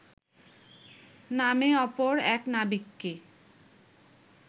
নামে অপর এক নাবিককে